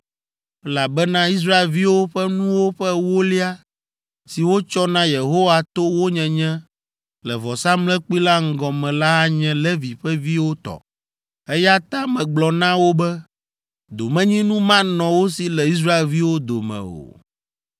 elabena Israelviwo ƒe nuwo ƒe ewolia si wotsɔ na Yehowa to wo nyenye le vɔsamlekpui la ŋgɔ me la anye Levi ƒe viwo tɔ. Eya ta megblɔ na wo be, ‘Domenyinu manɔ wo si le Israelviwo dome o.’ ”